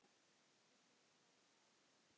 Undir þeim lá dáið fólk.